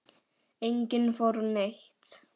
Enginn fór neitt.